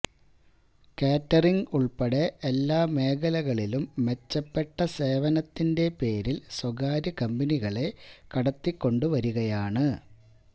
catering ഉള്പ്പെടെ എല്ലാ മേഖലകളിലും മെച്ചപ്പെട്ട സേവനത്തിന്റെ പേരില് സ്വകാര്യ കമ്പനികളെ കടത്തിക്കൊണ്ടുവരികയാണ്